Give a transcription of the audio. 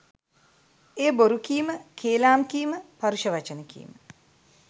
එය බොරු කීම, කේලාම් කීම, පරුෂ වචන කීම,